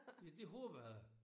Ja det håber jeg